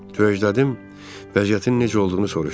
Törəclədim vəziyyətinin necə olduğunu soruşdum.